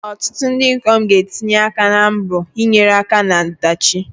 Ọtụtụ ndị ikom ga-atụnye aka na mbọ ịnyere aka na ọdachi.